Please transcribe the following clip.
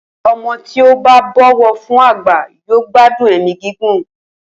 O̩mo̩ tí ó bá bò̩wò̩ fún àgbà yóò gbádùn è̩mí gígùn